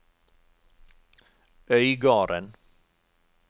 Øygarden